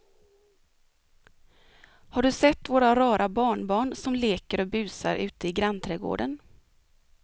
Har du sett våra rara barnbarn som leker och busar ute i grannträdgården!